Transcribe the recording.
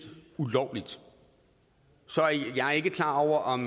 ulovligt så er jeg ikke klar over om